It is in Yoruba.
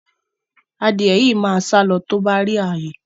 Adìẹ yìí máa sálọ tó bá rí ààyè